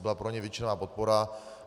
Byla pro něj většinová podpora.